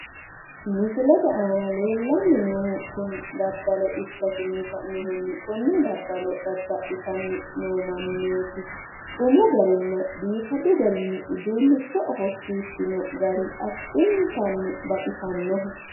Misilete aana leellanni noohu daddalo ikkanna konne daddalo dadda'litanni noo Mannooti biifino garinni uduunnichonsa wodhitinota xawissanno.